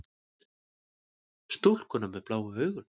Stúlkuna með bláu augun.